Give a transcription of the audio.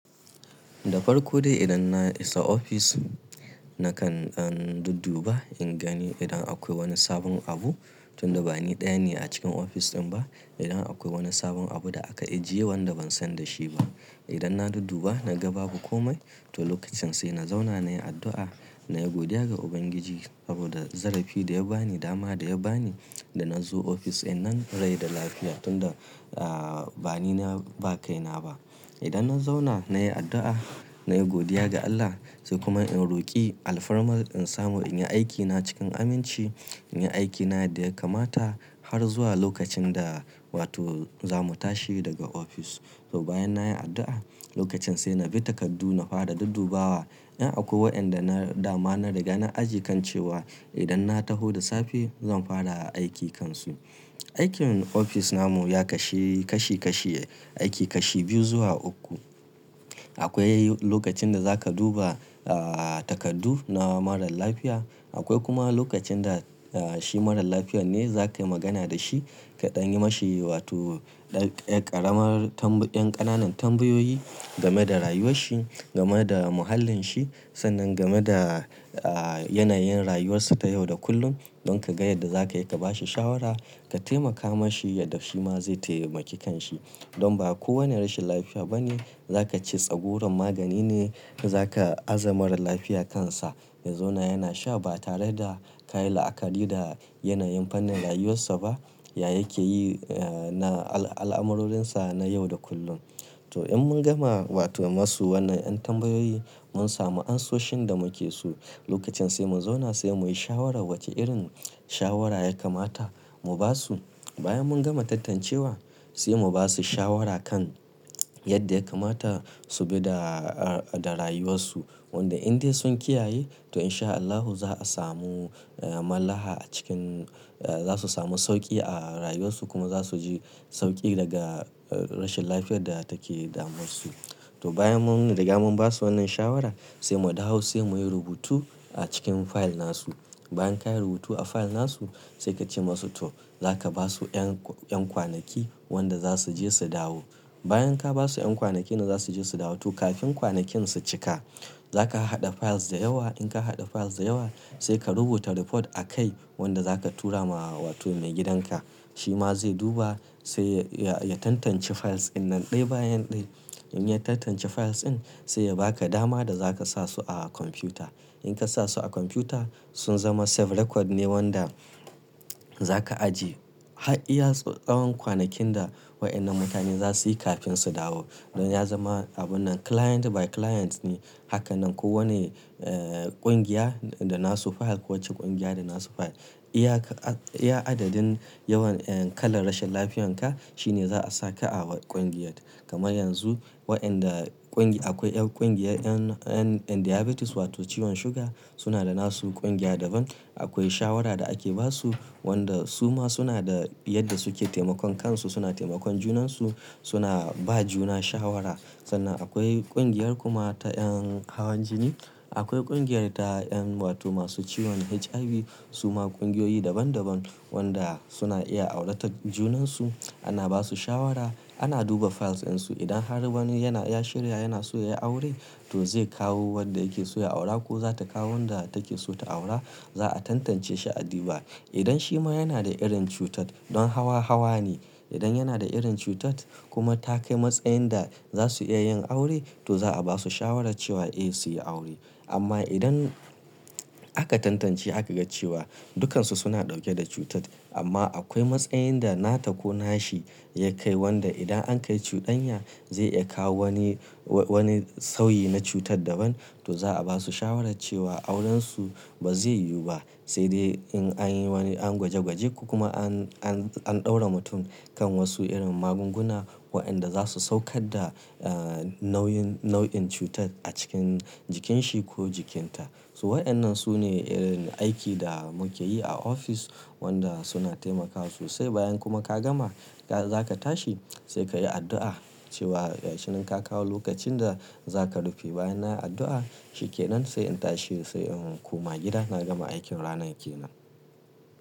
Da farko dai idan na isa ofis na kan ɗan dudduba in gani idan akwai wani sabon abu tunda bani ɗaya ne a cikin ofis ɗin ba. Idan akwai wani sabon abu da aka ajiye wanda ban san da shi ba. Idan na dudduba na ga babu komai to lokacin sai na zauna na yi addu'a, na yi godiya ga Ubangiji abada zarafi da ya ba ni, dama da ya ba ni da na zo ofis in nan rai da lafiya tunda, ah, bani na ba kai na ba. Idan na zauna na yi addu'a, na yi godiya ga Allah sai kuma in roƙi alfarma in samu in yi aikina cikin aminci, in yi aikina da ya kamata har zuwa lokacin da wato zamu tashi daga ofis. To bayan na yi addu'a lokacin sai na bi takardu na fara duddubawa. Inda akwai waɗanda na dama na riga na ajiye kan cewa idan na taho da safe zan fara aiki kansu. Aikin ofis namu ya kashi kashi kashi, aiki kashi biyu zuwa uku. Akwai lokacin da za ka duba, ah, takardu na marar lafiya. Akwai kuma lokacin da, ah, shi marar lafiyar ne zaka yi magana da shi ka ɗan yi ma shi wato ɗan ƙaramar tambayi, ɗan ƙananan tambayoyi game da rayuwar shi, game da muhallin shi sannan game da, ah, yanayin rayuwarsa ta yau da kullum don ka ga yadda za ka iya ka ba shi shawara ka taimaka ma shi yadda shi ma zai taimaki kan shi. Don ba kowane rashin lafiya ba ne za ka ce tsagurar magani ne ka za ka azamarar lafiya kansa. Ya zuna yana sha ba tare da ka yi la'akari da yanayin fannin rayuwarsa ba. Ya yake yi, ah, na al-alamurorinsa na yau da kullum. To in mun gama wato masu wannan ƴan tambayoyi mun samu ansoshin da muke so lokacin sai mu zauna sai muyi shawara wace irin shawara ya kamata mu ba su. Bayan mun gama tantancewa sai mu ba su shawara kan yadda ya kamata su bi da, ah, da rayuwarsu. Wanda in dai sun kiyaye to in sha Allahu za a samu, ah, mallaha a cikin, ah, za su samu sauƙi a rayuwarsu kuma za su ji sauƙi daga rashin lafiyar da take da mun su to bayan mun riga mun ba su wannan shawara sai mu dawo sai muyi rubutu a cikin fayil nasu. Bayan ka yi rubutu a fayil nasu sai ka ce masu to za ka ba su ƴan, ƴan kwanaki wanda za su je su dawo. Bayan ka ba su ƴan kwanaki da za su je su dawo to kafin kwanakin su cika za ka haɗa fayils da yawa. In ka haɗa fayils da yawa sai ka rubuta report a kai wanda za ka tura ma wato maigidanka. Shi ma zai duba sai ya, ya tantance fayils ɗin nan ɗaya bayan ɗaya. In ya tantance fayils ɗin sai ya ba ka dama da za ka sa su a kwamfuta. In ka sa su a kwamfuta sun zama ajiyar bayanai lafiya ne wanda za ka aje Haɗiyarsu tsawon kwanakin da waɗannan mutane za su yi kafin su dawo. Don ya zama abun nan client by client ne. Haka nan kowane, eh, ƙungiya da nasu fayil, kowace ƙungiya da nasu fayil. Iya ka, iya adadin yawan, eh, kalar rashin lafiyanka shine za a saka a ƙungiyar kama yanzu waɗanda ƙungiya akwai ƴan ƙungiyar ƴan, ƴan, ƴan diabetes wato ciwon suga suna da nasu ƙungiya daban. Akwai shawara da ake ba su wanda su ma suna da yadda suke taimakon kansu. Suna taimakon junansu suna ba juna shawara. Sannan akwai ƙungiyar kuma ta ƴan hawan jini. Akwai ƙungiyar ta ƴan wato masu ciwon HIV. Su ma ƙungiyoyi daban daban wanda suna iya aurata junansu. Ana ba su shawara. Ana duba fayils ɗinsu. Idan har wani yana ya shirya yana so ya yi aure to zai kawo wadda yake so ya aura ko za ta kawo wanda take so ta aura. Za a tantance shi adiba. Idan shi ma yana da irin cutar don hawa hawa ne. Idan yana da irin cutar kuma ta kai matsayin da za su iya yin aure to za a ba su shawara cewa eh su yi aure. Amma idan aka tantance aka ga cewa dukansu suna ɗauke da cutar amma akwai matsayin da nata ko nashi ya kai wanda idan an kai cudanya zai iya kawo wani, wa-wani sauyi na cutar daban to za a ba su shawara cewa aurensu ba zai yiwu ba. Sai dai in an yi wani an gwaje gwaje kuma an, an, an ɗaura mutum kan wasu irin magunguna waɗanda za su saukar da, ah, nauyin, nau'in cutar a cikin jikinsa ko jikinta. So waɗannan su ne irin aiki da muke yi a ofis wanda suna taimakawa sosai. Bayan kuma ka gama ka za ka tashi sai ka yi addu'a cewa ya shi nan ka kawo lokacin da za ka rufe. Bayan na yi addu'a shike nan sai in tashi sai in koma gida na gama aikin ranar yake nan.